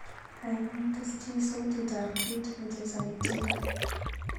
Gaigai tesyi sautitab kiit nechesani tyendo